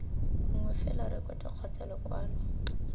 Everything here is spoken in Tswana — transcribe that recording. nngwe fela rekoto kgotsa lekwalo